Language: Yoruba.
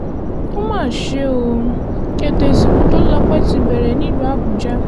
ó mà ṣe o ètò ìsìnkú tólùlọ́pẹ́ ti bẹ̀rẹ̀ nílùú àbújá